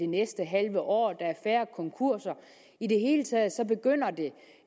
næste halve år at der er færre konkurser i det hele taget begynder det